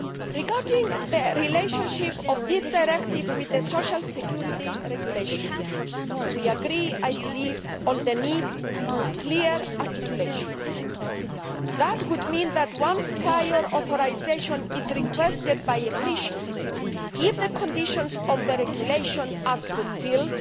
Regarding the relationship of this directive with the social security regulation, we agree, I believe, on the need for clear articulation, which would mean that, once prior authorisation is requested by a patient, and if the conditions of the regulation are fulfilled